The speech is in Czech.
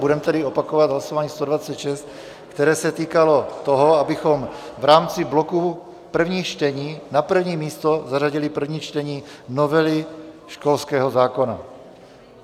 Budeme tedy opakovat hlasování 126, které se týkalo toho, abychom v rámci bloku prvních čtení na první místo zařadili první čtení novely školského zákona.